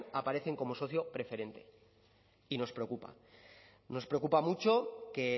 aparecen como socio preferente y nos preocupa nos preocupa mucho que